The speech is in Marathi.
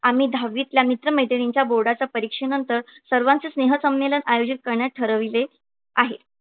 आम्ही दहावीतल्या मित्र मैत्रिणींच्या बोर्डाच्या परीक्षेनंतर सर्वांचे स्नेहसंमेलन आयोजित करण्याचे ठरविले आहे.